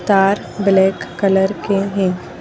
तार black colour के हैं।